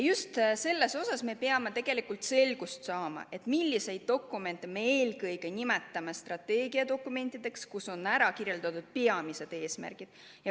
Just selles me peamegi tegelikult selgust saama, et eelkõige milliseid dokumente me nimetame strateegiadokumentideks, milles on kirjeldatud peamisi eesmärke.